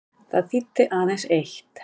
Það þýddi aðeins eitt.